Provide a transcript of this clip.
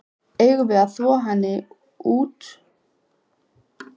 Eigum við að þvo henni næst þegar hún kemur út?